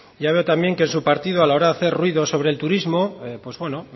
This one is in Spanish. ya veo también que en su partido a la hora de hacer ruido sobre el turismo